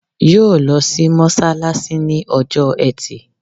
Yóò lo sí mọ́sálásí ní ọjọ́ ẹtì